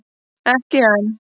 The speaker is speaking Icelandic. Ekki enn!